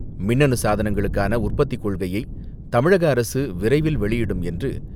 மின்னணு சாதனங்களுக்கான உற்பத்திக் கொள்கையை தமிழக அரசு விரைவில் வெளியிடும் என்று,